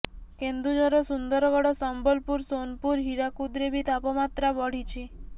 କେନ୍ଦୁଝର ସୁନ୍ଦରଗଡ଼ ସମ୍ବଲପୁର ସୋନପୁର ହୀରାକୁଦରେ ବି ତାପମାତ୍ରା ବଢ଼ିଛି